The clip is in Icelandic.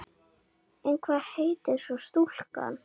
En hvað heitir svo stúlkan?